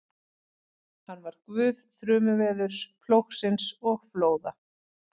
Hann var guð þrumuveðurs, plógsins og flóða.